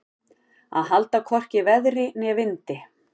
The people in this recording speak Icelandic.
Að halda hvorki veðri né vindi